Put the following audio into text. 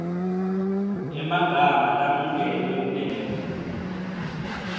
emagama lamukelwe kulelebuli